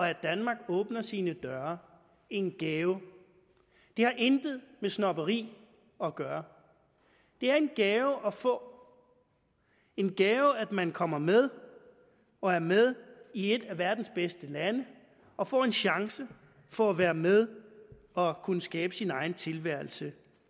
at danmark åbner sine døre en gave og det har intet med snobberi at gøre det er en gave at få en gave at man kommer med og er med i et af verdens bedste lande og får en chance for at være med og kunne skabe sin egen tilværelse